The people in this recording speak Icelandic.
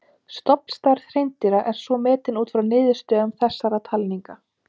Stofnstærð hreindýra er svo metin út frá niðurstöðum þessara talninga.